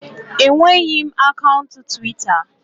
Enweghị m akaụntụ Twita